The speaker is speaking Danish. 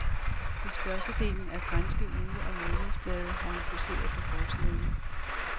På størstedelen af de franske uge- og månedsblade har hun poseret på forsiderne.